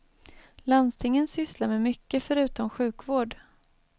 Landstingen sysslar med mycket förutom sjukvård.